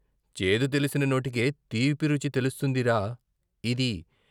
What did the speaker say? చేదు తెలిసిన నోటికే తీపి రుచి తెలుస్తుందిరా ఇది.